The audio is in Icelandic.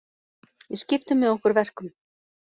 Við skiptum með okkur verkum